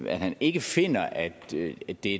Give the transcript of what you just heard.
han ikke finder at det er